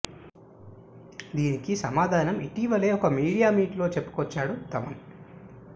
దీనికి సమాధానం ఇటీవలే ఒక మీడియా మీట్ లో చెప్పుకొచ్చాడు థమన్